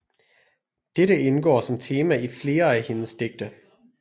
Dette indgår som tema i flere af hendes digte